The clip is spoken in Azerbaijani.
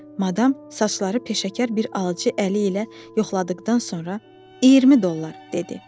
Madam saçları peşəkar bir alıcı əli ilə yoxladıqdan sonra: “20 dollar” dedi.